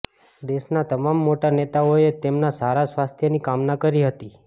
દેશના તમામ મોટા નેતાઓએ તેમના સારા સ્વાસ્થ્યની કામના કરી હતી